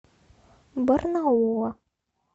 барнаула